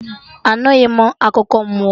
Anughi m akụkọ mmụọ